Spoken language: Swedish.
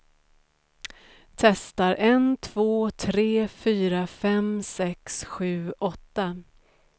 Testar en två tre fyra fem sex sju åtta.